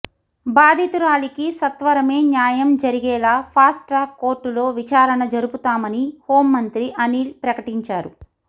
బాధితురాలికి సత్వరమే న్యాయం జరిగేలా ఫాస్ట్ ట్రాక్ కోర్టులో విచారణ జరుపుతామని హోంమంత్రి అనిల్ ప్రకటించారు